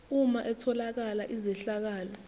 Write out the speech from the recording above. uma etholakala izehlakalo